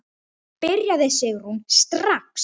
Byrjaðu Sigrún, strax.